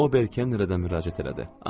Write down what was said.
O, o Berkə nərdə müraciət elədi.